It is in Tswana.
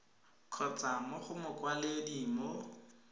kgotsa mo go mokwaledi mo